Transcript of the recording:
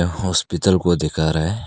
Hospital को दिखा रहा है।